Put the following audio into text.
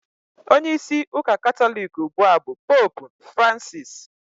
Onyeisi ụka Katọlik ugbua bụ Poopu Francisi